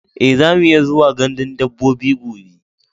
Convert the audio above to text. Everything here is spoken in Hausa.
E, zamu iya zuwa gandun dabbobi gobe.